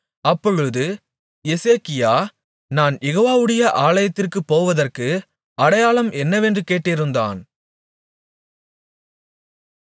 அப்பொழுது எசேக்கியா நான் யெகோவாவுடைய ஆலயத்திற்குப் போவதற்கு அடையாளம் என்னவென்று கேட்டிருந்தான்